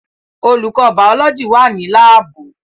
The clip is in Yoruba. Olùkọ́ bàọ́lọ́jì wà ní láàbù